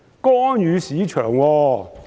干預市場？